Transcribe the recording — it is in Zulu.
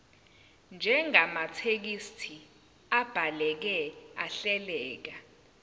njengamathekisthi abhaleke ahleleka